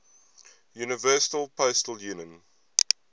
universal postal union